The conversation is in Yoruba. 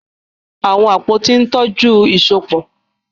Àwọn àpótí ń tọ́jú ìsopọ̀.